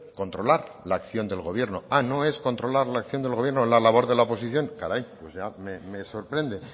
controlar la acción del gobierno ah no es controlar la acción del gobierno la labor de la oposición caray pues ya me sorprende